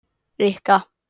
Rikka